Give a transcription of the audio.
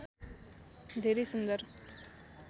धेरै सुन्दर